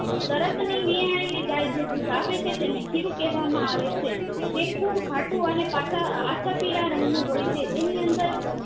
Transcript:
તરત ની વીહાએલી ગે જે દુધ આપે છે તેને ખીરું કહે વામાં આવે છે તે ખુબ ઘાટું અને પાક આછા પીળા રંગ નું હોય છે તેની અંદર